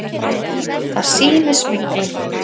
Það sýni smyglið.